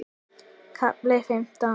KAFLI FIMMTÁN